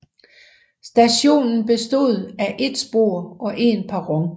Stationen bestod af et spor og en perron